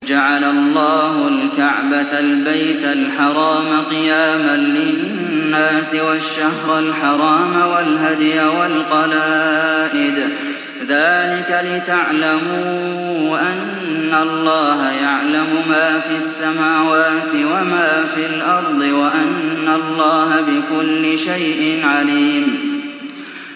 ۞ جَعَلَ اللَّهُ الْكَعْبَةَ الْبَيْتَ الْحَرَامَ قِيَامًا لِّلنَّاسِ وَالشَّهْرَ الْحَرَامَ وَالْهَدْيَ وَالْقَلَائِدَ ۚ ذَٰلِكَ لِتَعْلَمُوا أَنَّ اللَّهَ يَعْلَمُ مَا فِي السَّمَاوَاتِ وَمَا فِي الْأَرْضِ وَأَنَّ اللَّهَ بِكُلِّ شَيْءٍ عَلِيمٌ